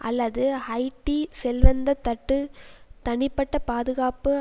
அல்லது ஹைட்டி செல்வந்த தட்டு தனிப்பட்ட பாதுகாப்பு